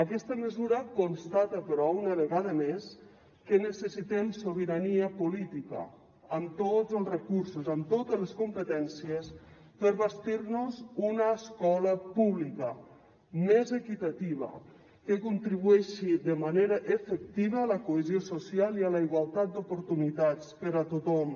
aquesta mesura constata però una vegada més que necessitem sobirania política amb tots els recursos amb totes les competències per bastir nos una escola pública més equitativa que contribueixi de manera efectiva a la cohesió social i a la igualtat d’oportunitats per a tothom